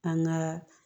An gaa